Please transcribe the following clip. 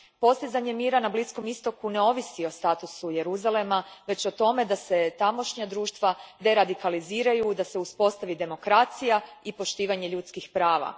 Postizanje mira na Bliskom Istoku ne ovisi o statusu Jeruzalema, već o tome da se tamošnja društva deradikaliziraju i da se uspostavi demokracija i poštivanje ljudskih prava.